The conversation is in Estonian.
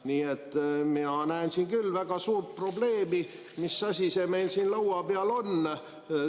Nii et mina näen siin küll väga suurt probleemi, et mis asi see meil siin laua peal on.